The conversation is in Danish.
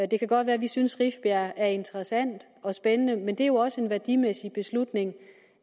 det kan godt være at vi synes rifbjerg er interessant og spændende men det er jo også en værdimæssig beslutning